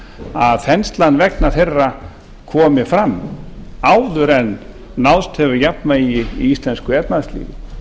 að þenslan vegna þeirra komi fram áður en náðst hefur jafnvægi í íslensku efnahagslífi